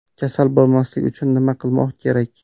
Kasal bo‘lmaslik uchun nima qilmoq kerak?